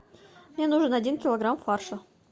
мне нужен один килограмм фарша